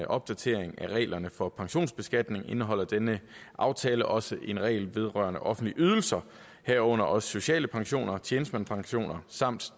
opdatering af reglerne for pensionsbeskatning indeholder denne aftale også en regel vedrørende offentlige ydelser herunder også sociale pensioner tjenestemandspensioner samt